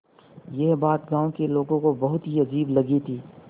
यह बात गाँव के लोगों को बहुत ही अजीब लगी थी